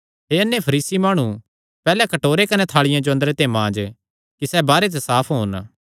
हे अन्ने फरीसी माणु पैहल्ले कटोरे कने थाल़िया जो अंदरे ते मांज कि सैह़ बाहरे ते भी साफ होन